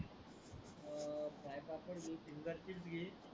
पापड घे